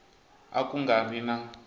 a ku nga ri na